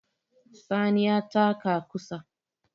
Sani ya taka ƙusa